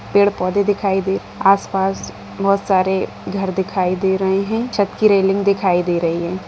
पेड़-पोधे दिखाई दे आसपास बहुत सारे घर दिखाई दे रहें हैं छत कि रैलिंग दिखाई दे रही है।